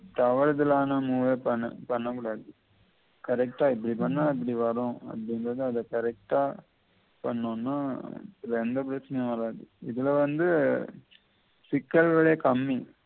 தவறுதலான முற பண்ணக்கூடாது correct ஆ இப்படி பண்ணா இப்படி வரும் அந்தந்தத அத correct ஆ பண்ணோம்னா இதுல எந்த பிரச்சினையும் வராது இதுல வந்து சிக்கல்வலே கம்மி